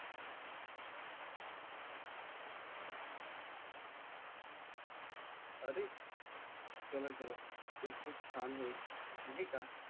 अरे चला चला ते खूप छान होईल नाहीका